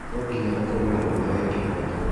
No nginya ũkoro mwana wĩ kĩhooto.